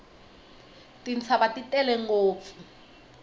tintshava ti tele ngopfu